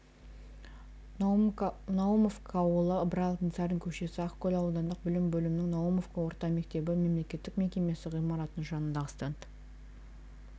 наумовка ауылы ыбырай алтынсарин көшесі ақкөл аудандық білім бөлімінің наумовка орта мектебі мемлекеттік мекемесі ғимаратының жанындағы стенд